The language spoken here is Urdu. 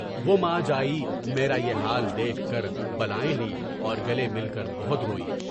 وہ ماں جائے، میرے یہ جال دیکھ کر بالائیں لی اور گلے مل کر بہت روئی۔